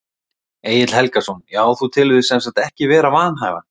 Egill Helgason: Já þú telur þig sem sagt ekki vera vanhæfan?